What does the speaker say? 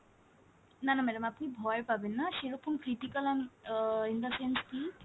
না না madam আপনি ভয় পাবেননা সেরকম critical um ah in the sense key